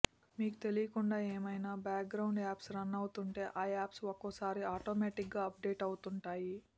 మీకు తెలియకుండా ఏమైనా బ్యాక్ గ్రౌండ్స్ యాప్స్ రన్ అవుతుంటే ఆ యాప్స్ ఒక్కోసారి ఆటోమేటిగ్గా అప్ డేట్ అవుతుంటాయి